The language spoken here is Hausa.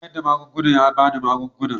Mai sayar da magunguna ya ba ni magungunan.